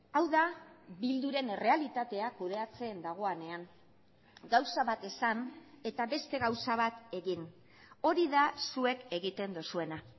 hau da bilduren errealitatea kudeatzen dagoenean gauza bat esan eta beste gauza bat egin hori da zuek egiten duzuena